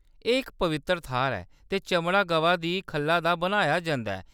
एह्‌‌ इक पवित्तर थाह्‌‌‌र ऐ ते चमड़ा गवा दी खल्ला दा बनाया जंदा ऐ।